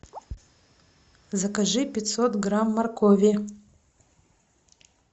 закажи пятьсот грамм моркови